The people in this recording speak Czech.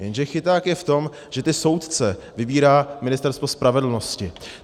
Jenže chyták je v tom, že ty soudce vybírá Ministerstvo spravedlnosti.